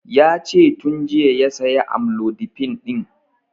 Yace tun jiya ya saya amlodipin ɗin